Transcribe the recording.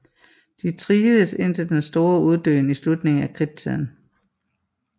De trivedes indtil den store uddøen i slutningen af Kridttiden